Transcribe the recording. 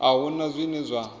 a hu na zwine zwa